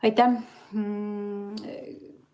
Aitäh!